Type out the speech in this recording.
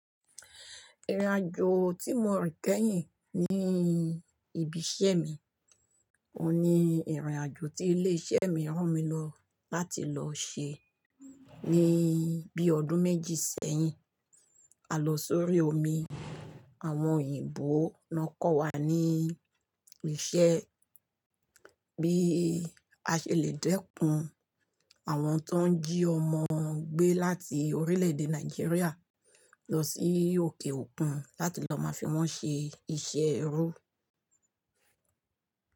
Ìrìnàjò tí mo rí kẹ́yìn ní ibi iṣẹ́ mi, òun ni ìrìnàjò tí ilé iṣẹ́ mi rán mi lọ láti lọ ṣe ní bí i ọdún méjì sẹ́yìn. A lọ sórí omi, àwọn òyìnbó nọ kọ́ wa ní iṣẹ́ bí a ṣe lè dẹ́kun àwọn tó ń jí ọmọ gbé láti orílẹ̀ èdè Nàìjíríà lọ sí òkè òkun láti lọ máa fi wọ́n ṣe iṣẹ́ ẹrú.